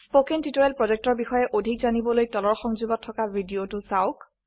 spoken tutorial projectৰ বিষয়ে অধিক জানিবলৈ তলৰ সংযোগত থকা ভিডিঅ চাওক